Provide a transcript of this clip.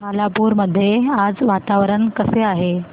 खालापूर मध्ये आज वातावरण कसे आहे